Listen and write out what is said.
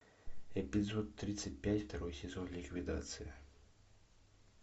эпизод тридцать пять второй сезон ликвидация